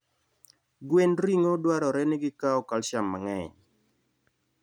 Gwend ring'o dwarore ni gikaw calcium mang'eny.